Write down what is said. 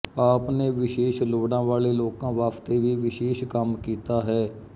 ਆਪ ਨੇ ਵਿਸ਼ੇਸ਼ ਲੋੜਾ ਵਾਲੇ ਲੋਕਾਂ ਵਾਸਤੇ ਵੀ ਵਿਸ਼ੇਸ਼ ਕੰਮ ਕੀਤਾ ਹੈ